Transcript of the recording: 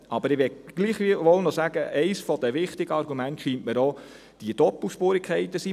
Ich möchte gleichwohl sagen, dass die Doppelspurigkeiten aus meiner Sicht ein wichtiges Argument sind.